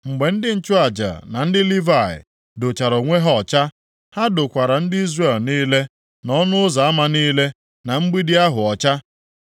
Mgbe ndị nchụaja na ndị Livayị dochara onwe ha ọcha, ha dokwara ndị Izrel niile, na ọnụ ụzọ ama niile, na mgbidi ahụ ọcha.